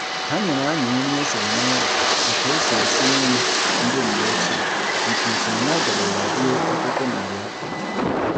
Ha nyere anyị nri e siri n'ụlọ etu e si esi nri ndị mgbe ochie nke usoro ya dirila ruo ọtụtụ narị afọ.